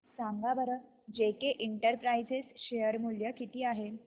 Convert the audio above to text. सांगा बरं J K enterprises share मूल्य किती आहे